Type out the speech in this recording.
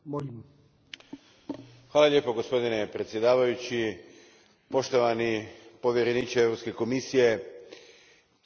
Gospodine predsjedavajući, poštovani povjereniče Europske komisije, kriza traje dugo.